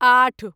आठ